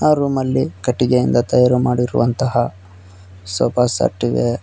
ಆ ರೂಮಲ್ಲಿ ಕಟ್ಟಿಗೆಯಿಂದ ತಯಾರು ಮಾಡಿರುವಂತಹ ಸೋಫಾ ಸೆಟ್ ಇದೆ.